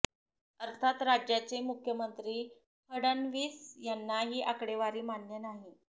अर्थात राज्याचे मुख्यमंत्री फडणवीस यांना ही आकडेवारी मान्य नाही